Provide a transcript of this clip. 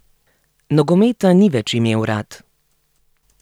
Nogometa ni več imel rad.